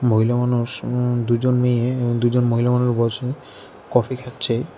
মহিলা মানুষ উম দুইজন মেয়ে এবং দুইজন মহিলা মানুষ বসে কফি খাচ্ছে।